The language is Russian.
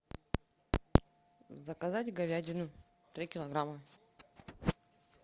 заказать говядину три килограмма